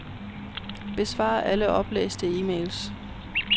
Besvar alle oplæste e-mails.